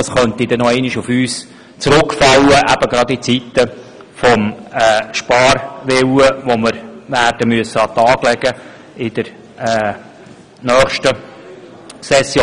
Das könnte dereinst auf uns zurückfallen, insbesonde re angesichts des Sparwillens, den wir in der nächsten Session werden an den Tag legen müssen.